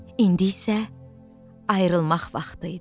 İndi isə ayrılmaq vaxtı idi.